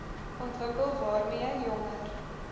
ontwikkel waarmee jonger